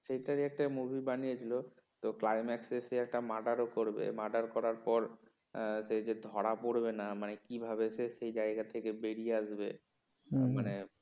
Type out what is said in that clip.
সেটারই একটা movie বানিয়ে ছিল তো climax এ এসে সেই একটা মার্ডারও করবে murder করার পর সেই যে ধরা পড়বে না মানে কি কিভাবে সে সেই জায়গা থেকে বেরিয়ে আসবে মানে